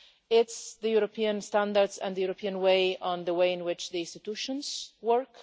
It's European standards and the European way on the way in which institutions work.